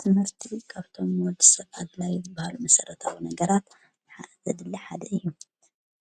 ትምህርቲ መርቲቢ ክኣብቶም ዎድ ሰብዓድላይ ዘበሃሉ መሠረታዊ ነገራ ዘድሊ ሓደ እዩ